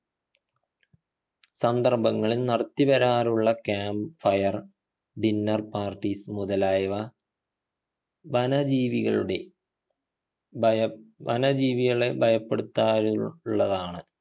സന്ദർഭങ്ങളിൽ നടത്തി വരാറുള്ള camp fire dinner parties മുതലായവ വന ജീവികളുടെ ഭയം വന ജീവികളെ ഭയപ്പെടുത്താനുള്ളതാണ്